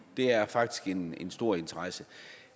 det er faktisk en stor interesse